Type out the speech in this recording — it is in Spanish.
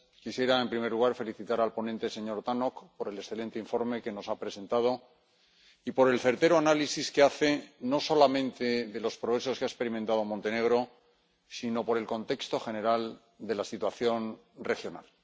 Quisiera, en primer lugar, felicitar al ponente, señor Tannock, por el excelente informe que nos ha presentado y por el certero análisis que hace, no solamente de los progresos que ha experimentado Montenegro sino también del contexto general de la situación regional.